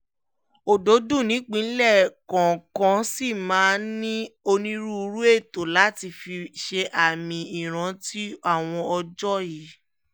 ọdọọdún nìpínlẹ̀ kọ̀ọ̀kan ṣì máa ń ní onírúurú ètò láti fi ṣe àmì ìrántí àwọn ọjọ́ yìí